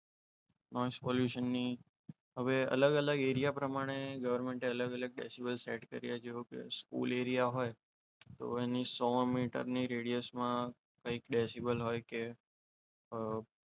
pollution ની હવે અલગ અલગ એરિયા પ્રમાણે ગવર્મેન્ટ એ અલગ અલગ ડેસિબલ સેટ કર્યા છે જેઓકે સ્કૂલ એરિયા હોય તો એને સો મીટરની radius માં કંઈક ડેસીબલ હોય કે .